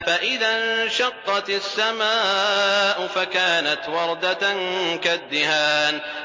فَإِذَا انشَقَّتِ السَّمَاءُ فَكَانَتْ وَرْدَةً كَالدِّهَانِ